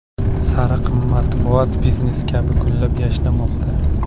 Sariq matbuot biznes kabi gullab-yashnamoqda.